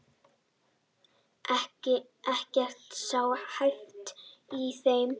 Ekkert sé hæft í þeim